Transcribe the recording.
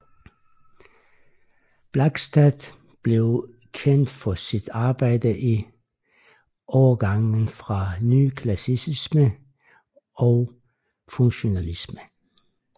Blakstad blev kendt for sit arbejde i overgangen fra nyklassicisme og funktionalisme